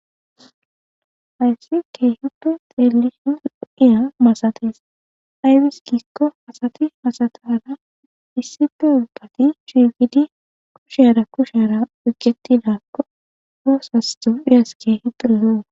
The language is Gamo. Hayssi keehide xeelishin kiya masatis aybis giikko asati asatara issife ubbati shiqidi kushera kushera oyiketidaakko oosas tophiyas keehi doro lo'okko